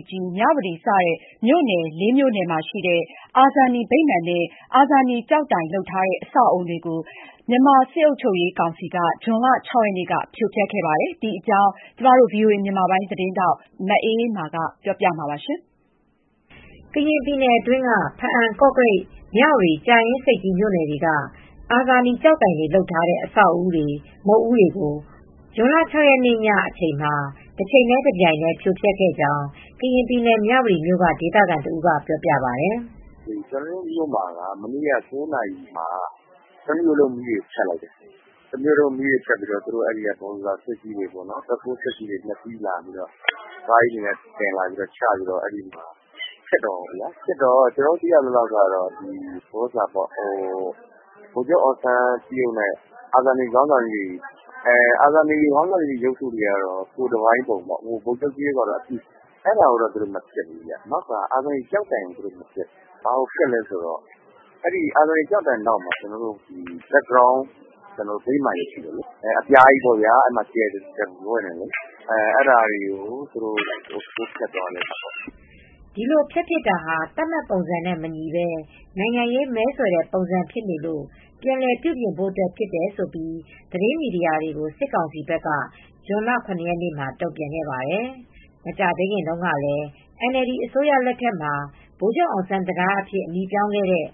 ပ်ကြီး ၊ မြဝတီစတဲ့ မြို့နယ် မြို့နယ်မှာရှိတဲ့ အာဇာနည်ဗိမာန်နဲ့ အာဇာနည်ကျောက်တိုင်လုပ်ထားတဲ့ အဆောက်အဦးများ ကို မြန်မာစစ်အုပ်ချုပ်ရေး ကောင်စီက ဇွန်လ ၆ ရက်နေ့က ဖြိုဖျက်ခဲ့ပါတယ်။ ဒီသတင်းကိုဗွီအိုအေ သတင်းထောက် မအေးအေးမာကပြောပြပေးမှာပါ။ ကရင်ပြည်နယ်အတွင်းက ဘားအံ၊ ကော့ကရိတ်၊ မြဝတီ၊ ကြာအင်းဆိပ်ကြီးမြို့နယ်တွေက အာဇာနည် ကျောက်တိုင်တွေလုပ် ထားတဲ့အဆောက်အဦးတွေ ၊ မုဒ်ဦးတွေကို ဇွန်လ ၆ရက်နေ့ည အချိန်မှာတချိန်တည်း တပြိုင်တည်း ဖြိုဖျက်ခဲ့ကြောင်း ကရင်ပြည်နယ် မြဝတီမြို့က ဒေသခံတဦးက ပြောပြပါတယ်။ “ ကျနော်တို့မြို့မှာက မနေ့က ၉နာရီမှာ တမြို့လုံးမီးတွေ ဖြတ်လိုက်တယ်။ တမြို့လုံး မီးဖြတ်ပြီးတော့ သူတို့ ဘူဒိုဇာ ဘက်ဟိုးကားကြီးတွေ ကားကြီးတွေ သယ်လာပြီး ချပြီး ဖျက်တာပေါ့နော် ၊ ကျနော်တို့ သိရသလောက်တော့ ဗိုလ်ချုပ်အောင်ကြေးရုပ်နဲ့ အာဇာနည်ခေါင်းဆောင်ကြီးတွေရဲ့ ကိုယ်တပိုင်းရုပ်ထုတွေကျောက်တိုင်ကိုတေ့ာ မဖျက်ဘူး။ အာဇာနည် ကျောက်တိုင်နောက်မှာ background ဗိမာန်ကြီး ရှိတယ်၊ အပြားကြီးပေါ့ဗျာ ကြယ်တပွင့်နဲ့ဟာကို ဖျက်တာသူတို့ ထိုးဖျက်သွားတာပေါ့” ဒီလိုဖျက်ပစ်တာဟာ သတ်မှတ်ပုံစံနဲ့ မညီပဲ နိုင်ငံရေး မဲဆွယ်တဲ့ ပုံစံဖြစ်နေလို့ ပြန်လည်ပြုပြင်ဖို့ အတွက်ဖြစ်တယ်လို့ သတင်းမီဒီယာတွေကို စစ်ကောင်စီဘက်က ဇွန်လ ၇ ရက်နေ့ မှာ တုံ့ပြန်ခဲ့ပါတယ်။ မကြာသေးခင်တုန်းကလည်း NLD အစိုးရလက်ထက်မှာ ဗိုလ်ချုပ်အောင်ဆန်း တံတား အဖြစ် အမည်ပြောင်းခဲ့တဲ့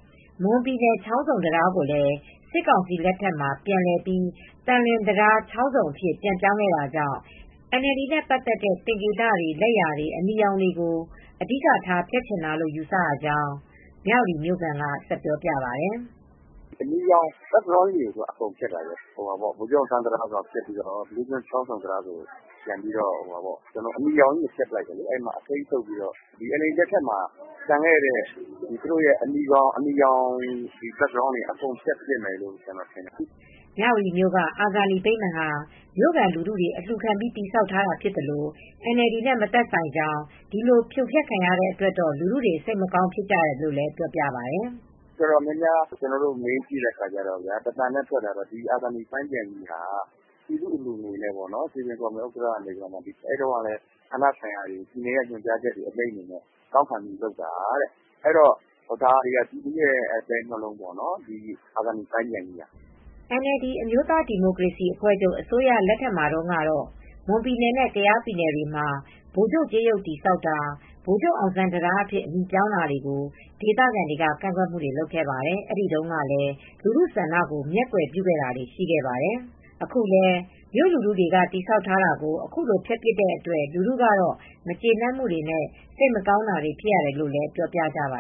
မွန်ပြည်နယ် ချောင်းဆုံ တံတား ကိုလည်း စစ်ကောင်စီလက်ထက်မှာ ပြန်လည်ပြီး သံလွင်တံတား အဖြစ် ပြန်ပြောင်းခဲ့တာကြောင့် NLD နဲ့ ပတ်သက်တဲ့ သင်္ကေတတွေ လက်ရာတွေ ၊ အနီရောင်ကို အဓိက ထားဖျက်ချင်တာလို့ ယူဆရကြောင်း မြဝတီမြို့ခံက ဆက်ပြောပြပါတယ်။ “ အနီရောင် background ကြီးကို အကုန်ဖျက်တာ ၊ ဗိုလ်ချုပ်အောင်ဆန်း တံတား ကိုဖျက်ပြီး ဘီးလူးချောင်း ဆိုပြီး ပြန်ပြီး အနီရောင်ကို ဖျက်ပစ်တယ်။ အစိမ်းသုတ်ပြီး NLD လက်ထက်မှာ ကျန်တဲ့ အနီရောင် background တွေ အကုန်ဖျက်ပစ်မယ်လို့ ကျနော်ထင်တယ်” မြဝတီမြို့က အာဇာနည်ဗိမာန်ဟာ မြို့ခံလူထုတွေ အလျူခံပြီး တည်ဆောက်ထားတာ ဖြစ်သလို NLD နဲ့ မသက်ဆိုင်ကြောင်း ဒီလိုဖြိုဖျက်ခံရတဲ့ အတွက်တော့ လူထုတွေ စိတ်မကောင်း ဖြစ်ရတယ်လို့လည်း ပြောပါတယ်။ “လူအတော်များများကို မေးကြည့်တဲ့ အခါမှာတော့ တသံတည်းထဲထွက်တာက အာဇာနည်ပန်းခြံကြီးဟာ ပြည်သူအလှူငွေနဲ့ စည်ပင်ဥက္ကဋ္ဌ ကနေ ဌာနဆိုင်ရာတွေ ပြည်နယ်နဲ့ ညွန်ကြားချက်တွေ အမိန့်တွေနဲ့တောင်းခံပြီးလုပ်တာ ။ ဒါတွေကပြည်သူရဲ့ အသဲနှလုံးပေါ့နော် ဒီအာဇာနည်ပန်းခြံကြီးက။ ” NLD အစိုးရလက်ထက်မှာတုန်းကတော့ မွန်ပြည်နယ်နဲ့ ကယားပြည်နယ်တွေမှာ ဗိုလ်ချုပ်ကြေးရုပ်တည်ဆောက်တာ ဗိုလ်ချုပ်အောင်ဆန်း တံတား အဖြစ် အမည်ပြောင်းတာတွေကို ဒေသခံတွေက ကန့်ကွက်မူတွေလုပ်ခဲ့ပါတယ် အဲဒီတုန်းကလည်း လူထုဆန္ဒကို မျက်ကွယ်ပြုခဲ့တာတွေ ရှိခဲ့ပါတယ်။ အခုလည်းမြို့လူထုတွေကတည်ဆောက်ထားတာတွေကို အခုလိုဖြိုဖျက်ပစ်တဲ့အတွက် လူထုကတော့ မကျေနပ်မူတွေ စိတ်မကောင်းတာတွေဖြစ်ရတယ် လို့လည်း ပြောပြကြပ